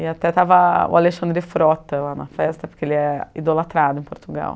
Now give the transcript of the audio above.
E até estava o Alexandre Frota lá na festa, porque ele é idolatrado em Portugal.